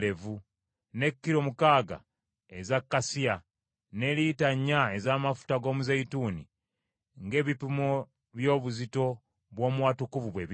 ne kiro mukaaga eza kasiya, ne lita nnya ez’amafuta g’omuzeeyituuni; ng’ebipimo by’obuzito bw’omu Watukuvu bwe biri.